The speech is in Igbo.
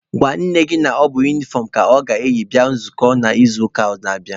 Gwa nne gị na ọ bụ unifọm ka ọ ga-eyi bịa nzukọ n'izuụka na-abịanụ!.